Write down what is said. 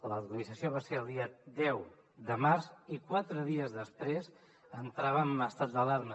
l’actualització va ser el dia deu de març i quatre dies després entràvem en estat d’alarma